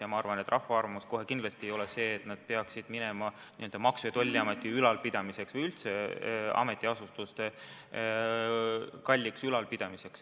Ja ma arvan, et rahva arvates see kohe kindlasti ei pea minema Maksu- ja Tolliameti ülalpidamiseks või üldse ametiasutuste kalliks ülalpidamiseks.